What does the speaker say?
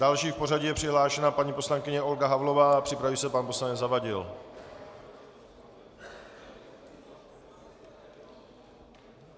Další v pořadí je přihlášena paní poslankyně Olga Havlová, připraví se pan poslanec Zavadil.